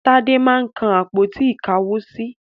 Tádé máa ń kan àpótí-ìkáwosí.